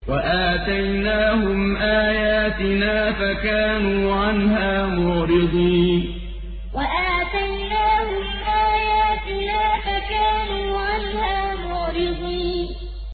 وَآتَيْنَاهُمْ آيَاتِنَا فَكَانُوا عَنْهَا مُعْرِضِينَ وَآتَيْنَاهُمْ آيَاتِنَا فَكَانُوا عَنْهَا مُعْرِضِينَ